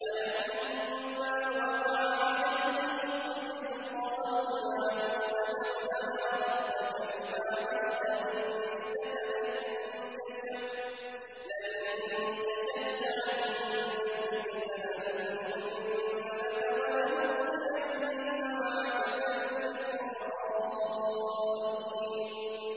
وَلَمَّا وَقَعَ عَلَيْهِمُ الرِّجْزُ قَالُوا يَا مُوسَى ادْعُ لَنَا رَبَّكَ بِمَا عَهِدَ عِندَكَ ۖ لَئِن كَشَفْتَ عَنَّا الرِّجْزَ لَنُؤْمِنَنَّ لَكَ وَلَنُرْسِلَنَّ مَعَكَ بَنِي إِسْرَائِيلَ